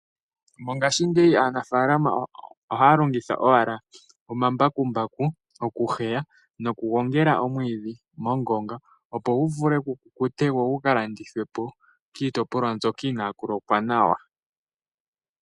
Mongashingeyi aanafaalama ohaya longitha owala omambakumbaku oku heya nokugongela omwiidhi mongonga opo gu vule gukukute go gukalandithwe po kiitopolwa mbyoka inàaku lokwa nawa.